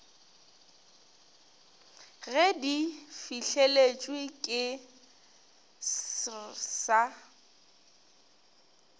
ge di fihleletšwe ke srsa